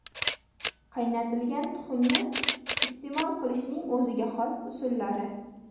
Qaynatilgan tuxumni iste’mol qilishning o‘ziga xos usullari.